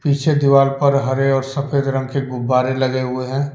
नीचे दीवार पर हरे और सफेद रंग के गुब्बारे लगे हुए हैं।